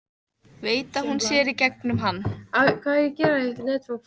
Veit að hún sér í gegnum hann.